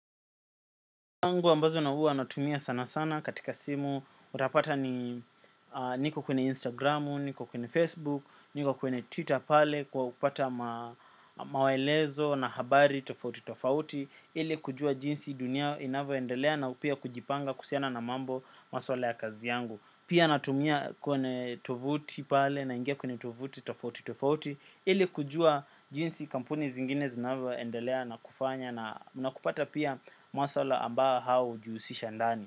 Angu ambazo na uwa natumia sana sana katika simu. Utapata ni niko kwenye Instagramu, niko kwenye Facebook, niko kwenye Twitter pale kwa kupata mawelezo na habari tofauti tofauti ili kujua jinsi dunia inavyo endelea na pia kujipanga kusiana na mambo maswala ya kazi yangu. Pia natumia kwenye tofauti pale naingia kwenye tofauti tofauti tofauti. Ili kujua jinsi kampuni zingine zinavyo ndelea na kufanya na kupata pia mwasala ambao hao ujiusisha ndani.